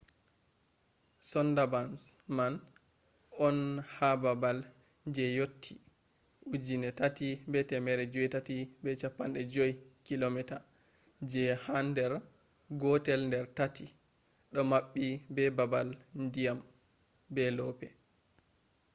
sundarbans man on ha babal je yotti 3,850 km je han der gotel der taati do mabbi be babal dyam/loope